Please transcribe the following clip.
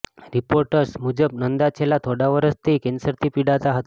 reports મુજબ નંદા છેલ્લા થોડા વર્ષથી કેન્સરથી પીડાતા હતા